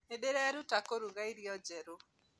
Nĩndĩraĩruta kũruga irĩo njerũ